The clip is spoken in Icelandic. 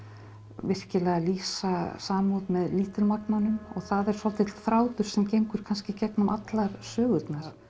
virkilega að lýsa samúð með lítilmagnanum og það er svolítill þráður sem gengur kannski í gegnum allar sögurnar